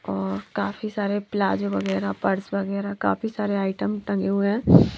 और काफी सारे प्लाजो वगैरा पर्स वगेरा काफी सारे आइटम टंगे हुए है।